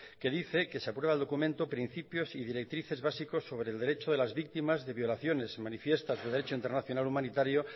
que dice que se aprueba el documento principios y directrices básicos sobre el derecho de las víctimas de violaciones y manifiesta su derecho internacional humanitario